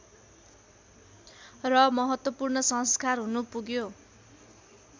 र महत्त्वपूर्ण संस्कार हुनपुग्यो